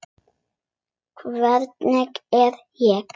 Hvernig læt ég.